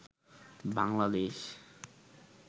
Bangladesh